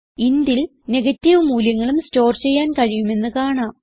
intൽ negative മൂല്യങ്ങളും store ചെയ്യാൻ കഴിയുമെന്ന് കാണാം